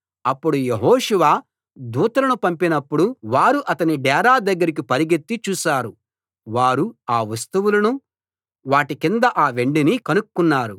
అప్పుడు యెహోషువ దూతలను పంపినప్పుడు వారు అతని డేరా దగ్గరికి పరుగెత్తి చూశారు వారు ఆ వస్తువులనూ వాటి కింద ఆ వెండినీ కనుక్కున్నారు